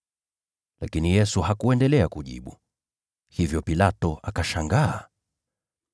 Lakini Yesu hakujibu lolote, hivyo Pilato akashangaa.